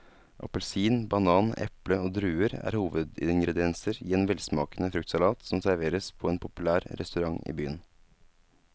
Appelsin, banan, eple og druer er hovedingredienser i en velsmakende fruktsalat som serveres på en populær restaurant i byen.